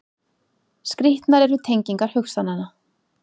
Skrýtnar eru tengingar hugsananna.